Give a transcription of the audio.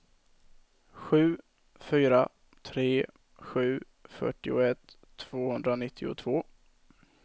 sju fyra tre sju fyrtioett tvåhundranittiotvå